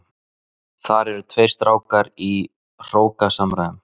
Þar eru tveir strákar í hrókasamræðum.